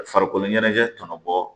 Farikolo ɲɛnajɛ tɔnɔ bɔ